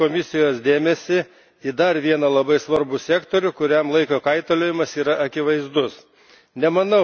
Noriu atkreipti Komisijos dėmesį į dar vieną labai svarbų sektorių, kuriam laiko kaitaliojimas yra akivaizdus.